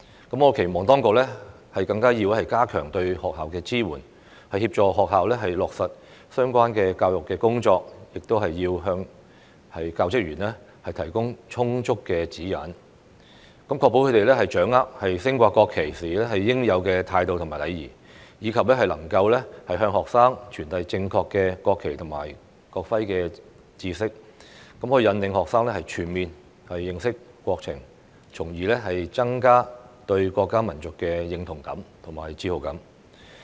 我期望當局更要加強對學校的支援，協助學校落實相關教育工作，亦要向教職員提供充足的指引，確保他們掌握升掛國旗時應有的態度與禮儀，以及能夠向學生傳遞正確的國旗及國徽知識，引領學生全面認識國情，從而增加對國家民族的認同感和自豪感。